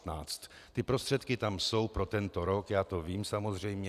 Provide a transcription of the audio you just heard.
Ty prostředky tam jsou pro tento rok, já to vím samozřejmě.